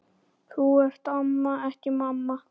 Þú ert amma, ekki mamma.